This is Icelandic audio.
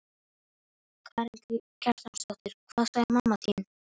Karen Kjartansdóttir: Hvað sagði mamma þín?